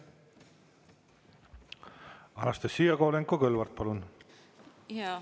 Anastassia Kovalenko-Kõlvart, palun!